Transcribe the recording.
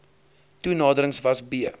toenaderings was b